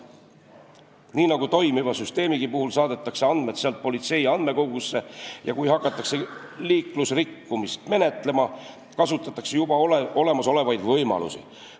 Nii nagu toimiva süsteemigi puhul, saadetakse andmed sealt politsei andmekogusse ja kui hakatakse liiklusrikkumist menetlema, kasutatakse juba olemasolevaid võimalusi.